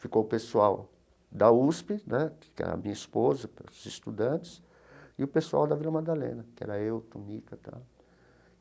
Ficou o pessoal da USP né, que era minha esposa, os estudantes, e o pessoal da Vila Madalena, que era eu, Tunica e tal.